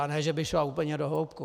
A ne, že by šla úplně do hloubky.